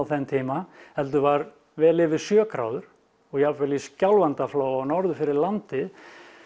þeim tíma heldur var vel yfir sjö gráður og jafnvel í Skjálfandaflóa norður fyrir landi